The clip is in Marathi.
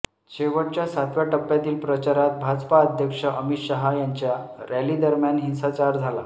शेवटच्या सातव्या टप्प्यातील प्रचारात भाजपा अध्यक्ष अमित शहा यांच्या रॅलीदरम्यान हिसांचार झाला